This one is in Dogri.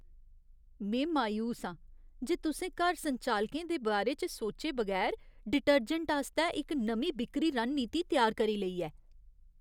में मायूस आं जे तुसें घर संचालकें दे बारे च सौचे बगैर डिटर्जैंट आस्तै इक नमीं बिक्करी रणनीति त्यार करी लेई ऐ।